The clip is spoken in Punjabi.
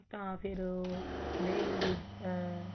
ਤਾਂ ਫ਼ੇਰ ਉਹ ਕਹਿੰਦੇ ਵੀ ਆ